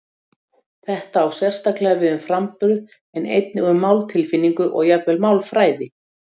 Þetta á sérstaklega við um framburð en einnig um máltilfinningu og jafnvel málfræði.